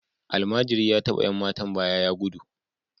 Almajiri ya taba ’yan matan gindi ya gudu